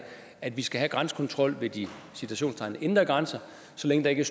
at vi skal have grænsekontrol ved i citationstegn de indre grænser så længe der ikke